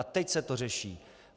A teď se to řeší?